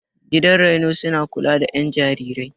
Gidan raino suna kula da ƴan jarirai.